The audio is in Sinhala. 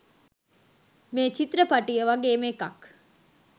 මේ චිත්‍රපටිය වගේම එකක්.